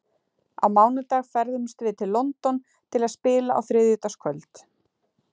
Á mánudag ferðumst við til London til að spila á þriðjudagskvöld.